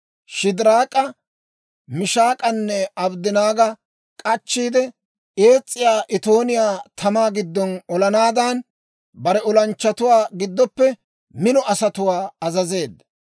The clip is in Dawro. Shidiraak'a, Mishaak'anne Abddanaaga k'achchiide, ees's'iyaa itooniyaa tamaa giddo olanaadan, bare olanchchatuwaa giddoppe mino asatuwaa azazeedda.